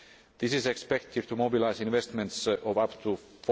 This is expected to mobilise investments of up to EUR